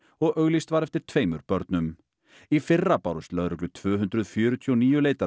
og auglýst var eftir tveimur börnum í fyrra bárust lögreglu tvö hundruð fjörutíu og níu